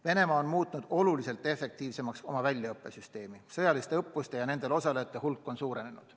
Venemaa on muutnud oluliselt efektiivsemaks oma väljaõppesüsteemi, sõjaliste õppuste ja nendel osalejate hulk on suurenenud.